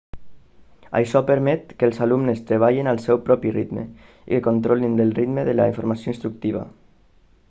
això permet que els alumnes treballin al seu propi ritme i que controlin del ritme de la informació instructiva